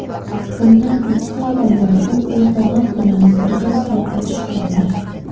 Bundan ikki oy avval u Erdo‘g‘on bilan birga suratga tushgandi.